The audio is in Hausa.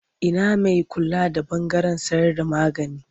Ina mai kula da ɓangaren sayarda magani?